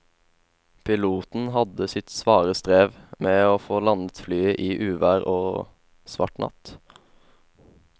Piloten hadde sitt svare strev med å få landet flyet i uvær og svart natt.